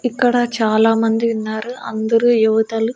ఇక్కడ చాలామంది ఉన్నారు అందరూ యువతలు.